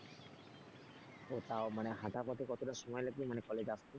ও তাও মানে হাঁটা পথে কতটা সময় লাগবে মানে college আসতে?